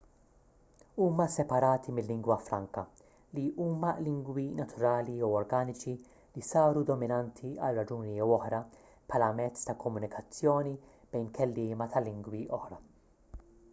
huma separati mil-lingwa franka li huma lingwi naturali jew organiċi li saru dominanti għal raġuni jew oħra bħala mezz ta' komunikazzjoni bejn kelliema ta' lingwi oħra